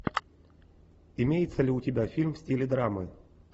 имеется ли у тебя фильм в стиле драмы